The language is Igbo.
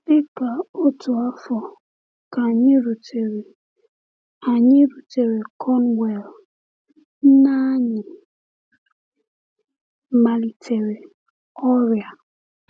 Dị ka otu afọ ka anyị rutere anyị rutere Cornwall, nne anyị malitere ọrịa.